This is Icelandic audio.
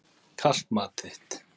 Kalt mat þitt.